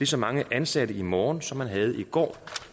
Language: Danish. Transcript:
så mange ansatte i morgen som man havde i går